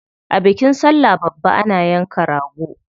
A bikin sallah babba ana yanka rago.